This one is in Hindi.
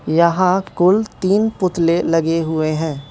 यहां कुल तीन पुतले लगे हुए हैं।